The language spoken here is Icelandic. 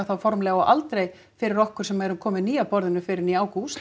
formlega og aldrei fyrir okkur sem erum komin ný að borðinu fyrr en í ágúst